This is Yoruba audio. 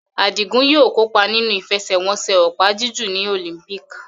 Adigun yóò kópa nínú ìfẹsẹ̀wọnsẹ̀ opa-jiju ní Olympics.